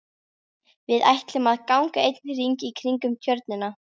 Við ætlum að ganga einn hring í kringum Tjörnina.